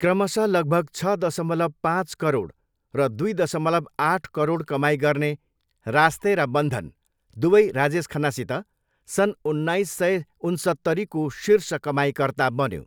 क्रमशः लगभग छ दशमलव पाँच करोड र दुई दशमलव आठ करोड कमाइ गर्ने रास्ते र बन्धन, दुवै राजेश खन्नासित, सन् उन्नाइस सय उन्सत्तरीको शीर्ष कमाइकर्ता बन्यो।